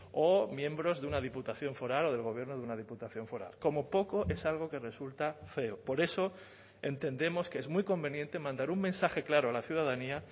o miembros de una diputación foral o del gobierno de una diputación foral como poco es algo que resulta feo por eso entendemos que es muy conveniente mandar un mensaje claro a la ciudadanía